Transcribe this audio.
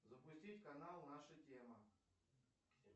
запустить канал наша тема